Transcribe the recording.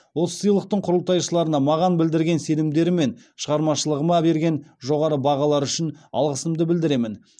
осы сыйлықтың құрылтайшыларына маған білдірген сенімдері мен шығармашылығыма берген жоғары бағалары үшін алғысымды білдіремін